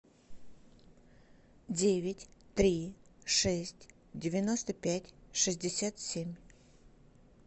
девять три шесть девяносто пять шестьдесят семь